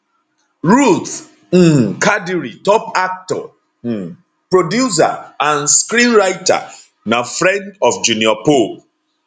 ruth um kadiri top actor um producer and screenwriter na friend of junior pope